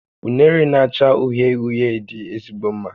Unere na-acha uhie uhie dị ezigbo mma